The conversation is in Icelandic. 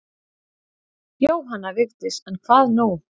Jóhanna Vigdís en hvað nú?